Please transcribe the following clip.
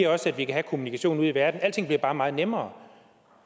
også at vi kan have kommunikationen ude i verden alting bliver bare meget nemmere